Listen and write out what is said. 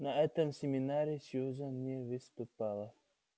на этом семинаре сьюзен не выступала